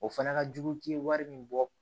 O fana ka jugu k'i ye wari min bɔ